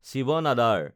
Shiva another